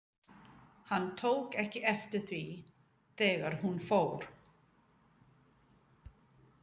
Hann tók ekki eftir því, þegar hún fór.